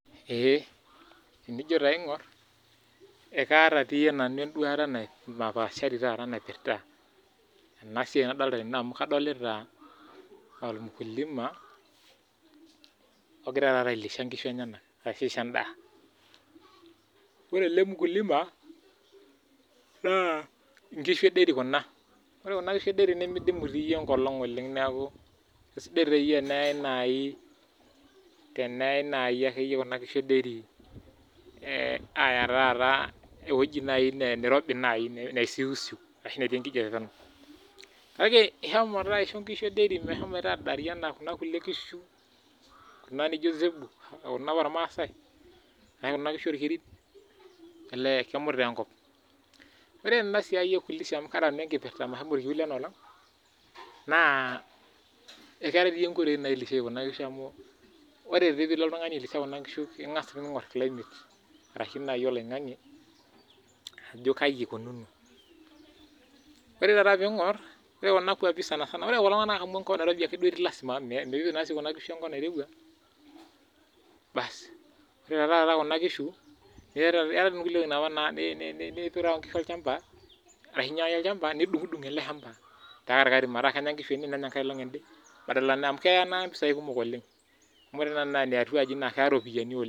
Eeh enijo taa aing'orr ekaata tiyie nanu enduata nai napaashari taata naipirta ena siai nadalta tene amu kadolita ormkulima ogira taata ailisha inkishu enyenak arashu aisho endaa ore ele mkulima naa inkishu e dairy kuna ore kuna kishu e dairy nemidimu tiiyie enkolong oleng niaku kesidai tiiyie teneyae naai teneyai naaji akeyie kuna kishu e dairy eh aaya taata ewoji ne nirobi naaji neisiusiu ashu netii enkijape peno kake ihomo taa aisho inkishu e dairy mehomoito adaari anaa kuna kulie kishu kuna nijio zebu kuna apa ormasae arae kuna kishu orkerin elee kemut taa enkop, ore tena siai e kulisha amu kaata nanu enkipirta mahomo orkiu lena olong naa ekeetae tiiyie inkoitoi nailishae kuna kishu amu ore tii piilo oltung'ani ailisha kuna kishu naa king'as tii ning'orr climate arashi naaji oloing'ang'e ajo kai ikununo ore taata piing'orr ore kuna kuapi sanasana ore kulo tung'anak amu enkop nairobi ake duo etii lasima mee miipik naa sii kuna kishu enkop nairewua basi ore taa taata kuna kishu ne eetae tii inkulie wueitin apa ne ni niterewa inkishu olchamba ashi inyiang'aki inkishu olchamba nidung'udung ele shamba te katikati metaa kenya inkishu ene nenya enkae olong ende badala na amu keya ena impisai kumok oleng amu ore taa ena eh atua aji naa keya iropiyiani oleng.